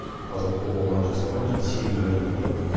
таза тобылғыдан жасалған және сегіз өрімнен тұрады